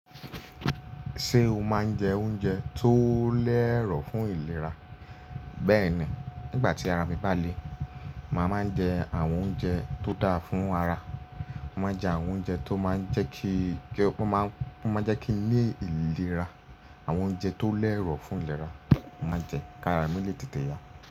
Ṣé o máa ń jẹ oúnjẹ tó lẹ́ero fún ìlera? Bẹ́ẹ̀ni, nígbà tí ara mi bá le, màá máa n jẹ àwọn oúnjẹ tó dáa fún ara. Mo máa jẹ àwọn oúnjẹ tó máa ń jẹ́ kí, ó máa ń jẹ́ kí lé ìlera. Àwọn oúnjẹ tó lẹ́ero fún ìlera, mo màá jẹ kí ara mi lè tètè yá.